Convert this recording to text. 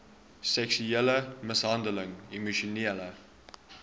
seksuele mishandeling emosionele